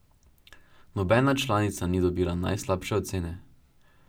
Nobena članica ni dobila najslabše ocene.